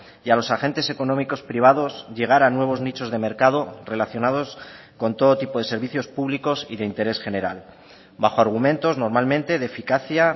y a los agentes económicos privados llegar a nuevos nichos de mercado relacionados con todo tipo de servicios públicos y de interés general bajo argumentos normalmente de eficacia